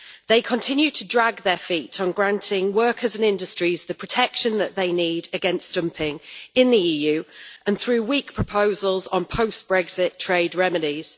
They continue to drag their feet on granting workers and industries the protection that they need against dumping in the EU and through weak proposals on post Brexit trade remedies.